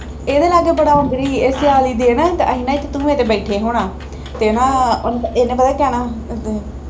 ਇਹਦੇ ਲਾਗੇ ਬੜਾ ਆਉਂਦੀ ਰਹੀ ਇਹ ਸਿਆਲੀ ਦੇ ਨਾ ਅਸੀਂ ਨਾ ਇੱਕ ਧੂਹੇ ਦੇ ਬੈਠੇ ਹੋਣਾ ਤੇ ਨਾ ਉਹਨੇ ਇਹਨੇ ਪਤਾ ਜਾਣਾ